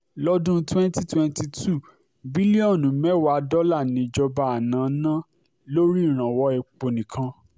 lọ́dún twenty twenty two bílíọ̀nù mẹ́wàá dọ́là níjọba àná ná lórí ìrànwọ́ epo nìkan